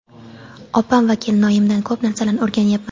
Opam va kelinoyimdan ko‘p narsalarni o‘rganyapman.